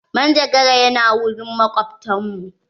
Manjagara ya na wurin makobtan mu.